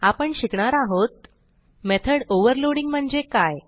आपण शिकणार आहोत मेथॉड ओव्हरलोडिंग म्हणजे काय